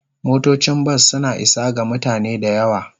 Motocin bas suna isa ga mutane da yawa.